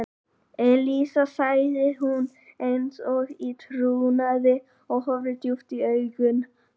Elísa sagði hún eins og í trúnaði og horfði djúpt í augu hans.